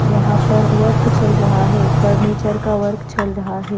वहां पर वर्क चल रहा है फर्नीचर का वर्क चल रहा है।